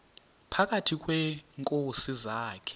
phakathi kweenkosi zakhe